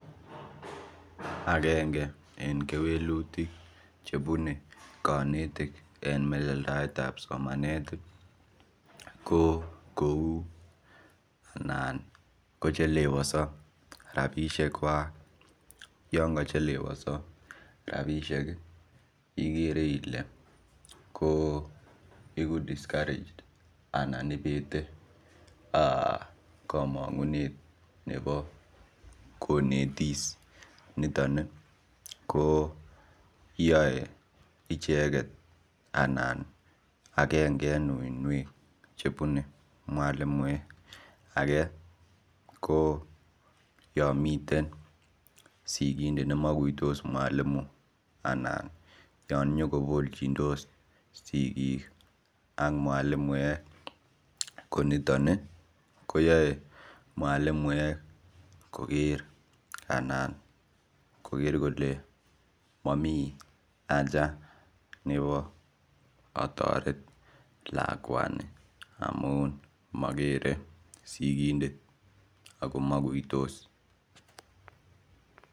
Agengei en kewelutiik che bunei en melelndailet ab somanet ko kou noon kochelewasaa rapisheek kwaak yaan ka chelewasaa rapisheek egu[discouraged] anan ibeete eeh komangunet nebo konetis nitoon ii ko yae ichegeet anan agengee en wuinweek che bunei mwalimuek ake ko yaan miten sigindet ne makuitos mwalimu anann yaan inyokoboyos sigiik ak mwalimuiek ko nitoon koyae mwalimuek koger anan koger kole mamii haja nebo atorer lakwanii amuun magere sigindet ako makuitos.